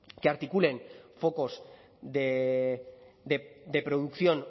que articulen focos de producción